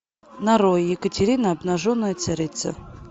нарой екатерина обнаженная царица